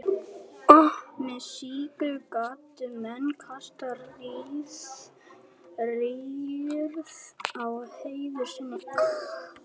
með slíku gátu menn kastað rýrð á heiður sinn